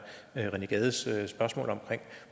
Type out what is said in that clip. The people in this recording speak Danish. rené gades spørgsmål om